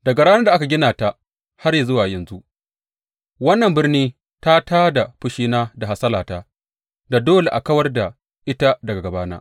Daga ranar da aka gina ta har zuwa yanzu, wannan birni ta tā da fushina da hasalata da dole a kawar da ita daga gabana.